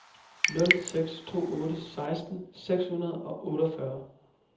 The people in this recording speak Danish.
nul seks to otte seksten seks hundrede og otteogfyrre